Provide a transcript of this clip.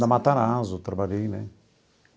Na Matarazzo eu trabalhei né.